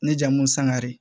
Ne jamu sangare